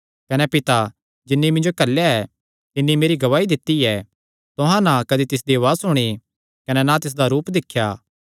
कने पिता जिन्नी मिन्जो घल्लेया ऐ तिन्नी मेरी गवाही दित्ती ऐ तुहां ना कदी तिसदी उआज़ सुणी कने ना तिसदा रूप दिख्या